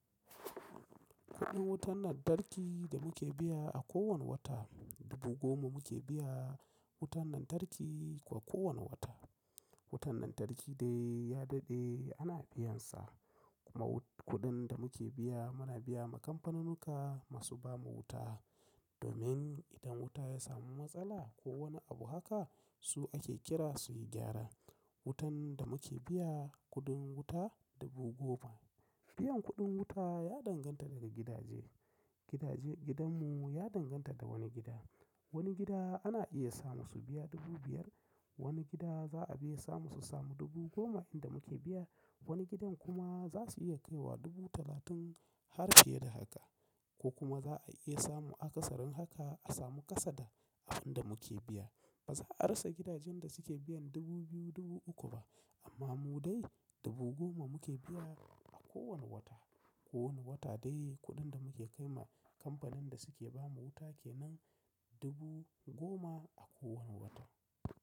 Kuɗin wutan lantarki da muke biya a kowane wata, dubu goma muke biya wutan lantarki a kowane wata. Wutan lantarki dai ya daɗe ana biyan sa. Kuma kuɗin da muke biya muna biya ma kamfanunuka masu ba mu wuta, domin idan wuta ya samu matsala ko wani abu haka su ake kira su yi gyara. Wutan da muke biya kuɗin wuta dubu goma. Biyan kuɗin wuta ya danganta daga gidaje. Gidajen gidanmu ya danganta da wani gida. Wani gida ana iya samu su biya dubu biyar. Wani gida za a biya samu su samu dubu goma inda muke biya. Wani gidan kuma za su iya kai wa dubu talatin har fiye da haka. Ko kuma za a iya samu akasarin haka a samu kasada a in da muke biya. Ba za a rasa gidajen da suke biyan dubu biyu, dubu uku ba. Amma mu dai dubu goma muke biya a kowane wata. Ko wane wata dai kuɗin da muke kai ma kamfanin da suke ba mu wuta ke nan dubu goma a kowane wata.